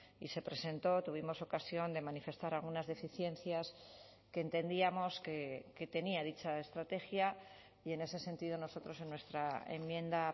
y se presentó tuvimos ocasión de manifestar algunas deficiencias que entendíamos que tenía dicha estrategia y en ese sentido nosotros en nuestra enmienda